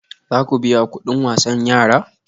Za ku biya kudin wasan yara?